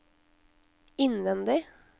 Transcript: innvendig